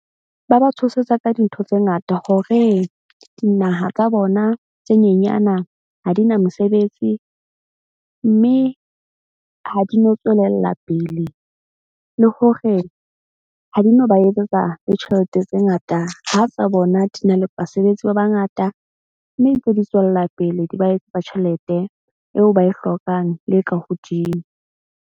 Ba ba tshosetsa ka dintho tse ngata hore dinaha tsa bona tse nyenyana ha di na mosebetsi. Mme ha di no tswelella pele, le hore ha di no ba etsetsa le tjhelete tse ngata, ha tsa bona di na le basebetsi ba bangata. Mme ntse di tswella pele di ba etsetsa tjhelete eo ba e hlokang le e ka hodimo.